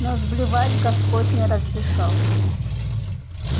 но сблевать господь не разрешал